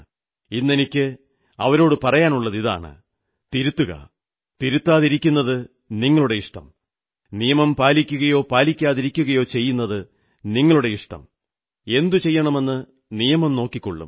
ഇന്നെനിക്ക് അവരോടു പറയാനുള്ളതിതാണ് തിരുത്തുകയോ തിരുത്താതിരിക്കുകയോ ചെയ്യുന്നത് നിങ്ങളുടെ ഇഷ്ടം നിയമം പാലിക്കുയോ പാലിക്കാതിരിക്കുകയോ ചെയ്യുന്നത് നിങ്ങളുടെ ഇഷ്ടം എന്തു ചെയ്യണമെന്ന് നിയമം നോക്കിക്കോളും